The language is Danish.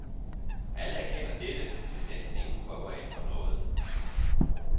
Alle erkender dette, men næsten ingen prøver at ændre noget.